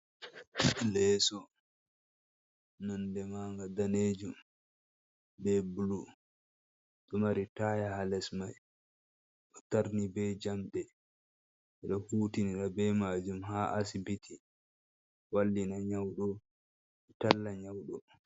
Leeso nonde maga danejum be bulu ɗo mari taya ha les mai bo tarni be jamɗe bedo hutinira be majum ha asibiti wallina nyauɗo e talla nyauɗo.